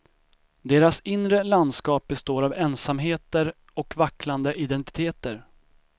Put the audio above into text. Deras inre landskap består av ensamheter och vacklande identiteter.